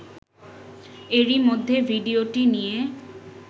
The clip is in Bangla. এরই মধ্যে ভিডিওটি নিয়ে